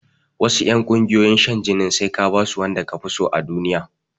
Wasu ƴungiyoyin shan jinin sai ka basu wanda kafiso a duniya